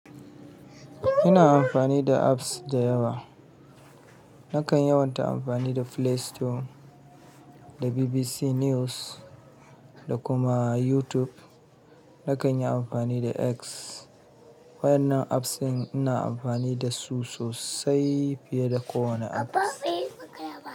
Ina amfani da apps da yawa. Nakan yawanci amfani da Play Store, da BBC News, da kuma YouTube. Nakan yi amfani da X waɗannan apps ina amfani da su sosai fiye da kowane app.